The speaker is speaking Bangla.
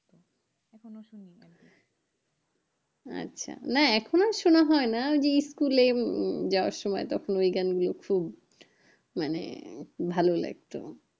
আচ্ছা, না এখন আর সোনা হয় না school এ উম যাবার সময় তখন ওই গান গুলো শুন মানে ভালো লাগতো